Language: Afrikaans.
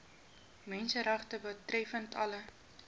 menseregte betreffende alle